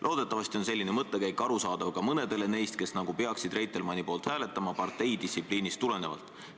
Loodetavasti on selline mõttekäik arusaadav ka mõnedele neist, kes nagu peaksid Reitelmanni poolt hääletama parteidistsipliinist tulenevalt.